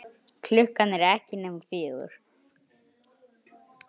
Klukkan er ekki nema fjögur.